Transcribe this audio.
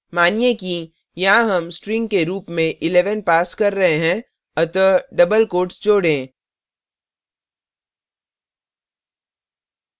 मानिए कि यहाँ हम string के रूप में 11 पास कर रहे हैं अतः डबल कोट्स जोड़ें